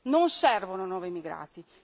Non servono nuovi migrati.